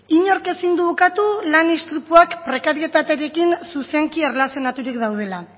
inork ezin du ukatu lan istripuak prekarietatearekin zuzenki erlazionaturik daudela